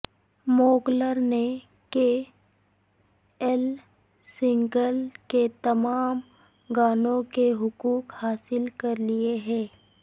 موغلر نے K L Saigal کے تمام گانوں کے حقوق حاصل کر لیے ہیں